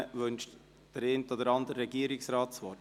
Wünscht der eine oder andere Regierungsrat das Wort?